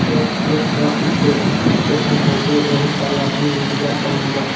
यह एक बस स्टेश स्टेशन है जो बहुत सारे आदमी इंतजार कर रहे हैं बस --